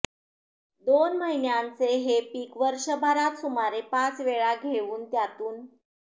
दोन महिन्यांचे हे पीक वर्षभरात सुमारे पाच वेळा घेऊन त्यातून